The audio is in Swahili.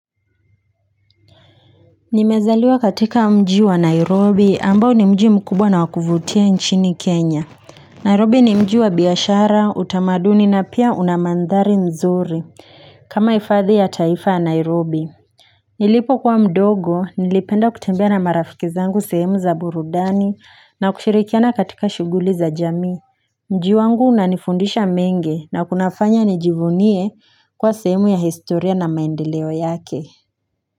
Nimezaliwa katika mjii wa nairobi ambao ni mjii mkubwa na wakuvutia nchini kenya nairobi ni mjii wa biashara utamaduni na pia unamandhari mzuri kama hifadhi ya taifa ya nairobi nilipo kuwa mdogo nilipenda kutembea na marafikizangu sehemu za burudani na kushirikiana katika shughuli za jamii mji wangu unanifundisha mengi na kunafanya nijivunie kuwa sehemu ya historia na maendeleo yake Kwa hivyo.